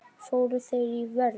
Fóru þeir í vörn?